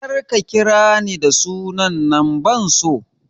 Kar ka ƙira ni da sunan nan ban so!